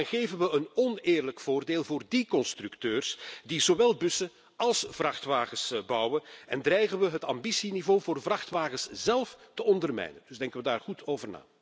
Dan geven we immers een oneerlijk voordeel aan die constructeurs die zowel bussen als vrachtwagens bouwen en dreigen we het ambitieniveau voor de vrachtwagens zélf te ondermijnen. Dus denken we daar goed over na.